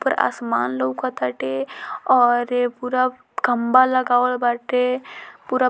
उपर आसमान लोकत टाटे और पूरा खम्भा लगावल वाटे पूरा --